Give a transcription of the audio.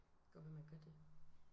Godt være man gør det